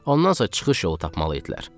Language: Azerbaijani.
Ondan sonra çıxış yolu tapmalı idilər.